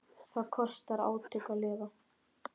Það kostar átök að lifa.